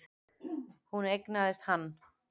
Hún eignaðist hann.